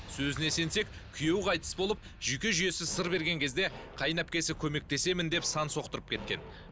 сөзіне сенсек күйеуі қайтыс болып жүйке жүйесі сыр берген кезде қайынәпкесі көмектесемін деп сан соқтырып кеткен